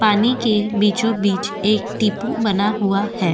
पानी के बीचो बीच एक टीपू बना हुआ है।